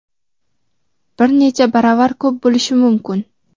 bir necha baravar ko‘p bo‘lishi mumkin.